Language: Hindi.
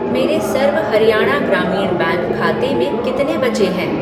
मेरे सर्व हरियाणा ग्रामीण बैंक खाते में कितने बचे हैं?